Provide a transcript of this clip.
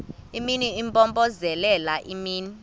imini impompozelela imini